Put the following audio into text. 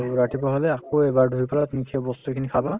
আৰু ৰাতিপুৱা হলে আকৌ এবাৰ ধুই পেলাই তুমি সেই বস্তুখিনি খাবা